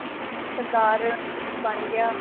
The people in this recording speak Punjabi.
ਸਰਦਾਰ ਬਣ ਗਿਆ